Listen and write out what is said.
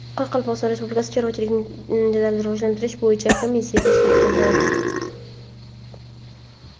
Qoraqalpog‘iston Respublikasida chorvachilikni jadal rivojlantirish bo‘yicha komissiya tashkil etildi.